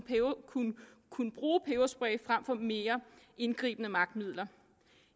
bruge peberspray frem for mere indgribende magtmidler